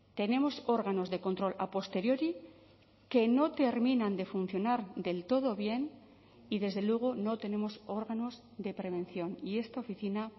tenemos órganos de control a posteriori que no terminan de funcionar del todo bien y desde luego no tenemos órganos de prevención y esta oficina